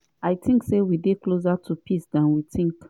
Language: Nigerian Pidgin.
"i tink say we dey closer to peace dan we tink.